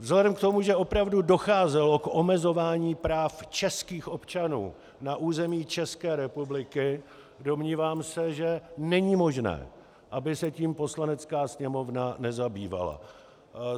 Vzhledem k tomu, že opravdu docházelo k omezování práv českých občanů na území České republiky, domnívám se, že není možné, aby se tím Poslanecké sněmovna nezabývala.